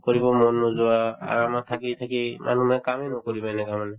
কৰিব মন নোযোৱা আৰু আমাৰ থাকি থাকি মানে কামে নকৰিব এনেকুৱা মানে